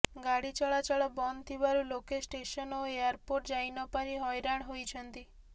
ଗାଡ଼ି ଚଳାଚଳ ବନ୍ଦ ଥିବାରୁ ଲୋକେ ଷ୍ଟେସନ ଓ ଏୟାରପୋର୍ଟ ଯାଇନପାରି ହଇରାଣ ହୋଇଛନ୍ତି